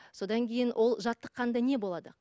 содан кейін ол жаттықнда не болады